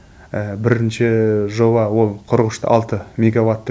бірінші жоба ол қырық үш те алты меговаттық